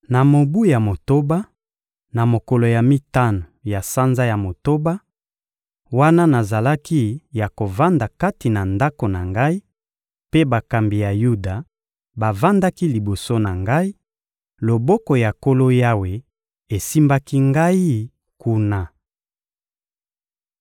Na mobu ya motoba, na mokolo ya mitano ya sanza ya motoba, wana nazalaki ya kovanda kati na ndako na ngai, mpe bakambi ya Yuda bavandaki liboso na ngai, loboko ya Nkolo Yawe esimbaki ngai kuna.